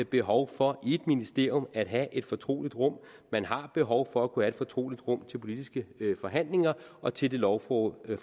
behov for i et ministerium at have et fortrolig rum man har behov for at kunne have et fortroligt rum til politiske forhandlinger og til det lovforberedende